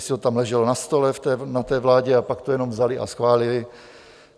Jestli to tam leželo na stole na té vládě a pak to jenom vzali a schválili?